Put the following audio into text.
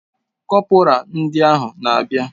Kọpura ndị ahụ na abia